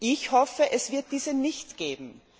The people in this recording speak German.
Ich hoffe, es wird diese nicht geben!